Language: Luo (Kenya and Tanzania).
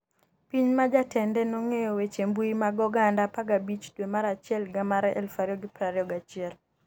Piny ma jatende nogeng'o weche mbui mag oganda 15 dwe mar achiel higa mar 2021